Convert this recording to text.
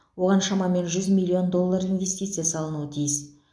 оған шамамен жүз миллион доллар инвестиция салынуы тиіс